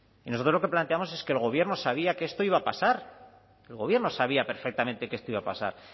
y nosotros lo que planteamos es que el gobierno sabía que esto iba a pasar el gobierno sabía perfectamente que esto iba a pasar